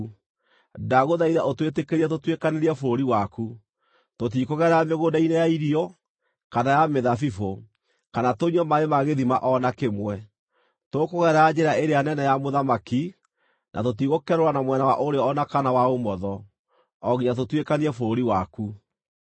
Ndagũthaitha ũtwĩtĩkĩrie tũtuĩkanĩrie bũrũri waku. Tũtikũgerera mĩgũnda-inĩ ya irio, kana ya mĩthabibũ, kana tũnyue maaĩ ma gĩthima o na kĩmwe. Tũkũgerera njĩra ĩrĩa nene ya mũthamaki, na tũtigũkerũra na mwena wa ũrĩo o na kana wa ũmotho, o nginya tũtuĩkanie bũrũri waku.”